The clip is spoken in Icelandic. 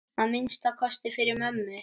Að minnsta kosti fyrir mömmu.